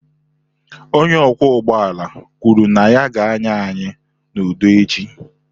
Onye ọkwọ ụgbọala kwuru na ya ga-anya anyị n'udo echi.